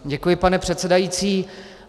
Děkuji, pane předsedající.